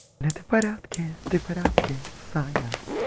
это порядке ты в порядке саня